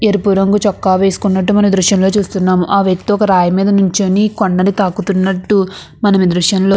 ఎరుపు రంగు చొక్కా వేసుకున్నటు మనం ఈ దృశ్యంలో చూస్తున్నాముఆ వ్యక్తి ఒక్క రాయిమీద నిన్చొని కొండని తాకుతున్నటు మనం ఈ దృశ్యంలో--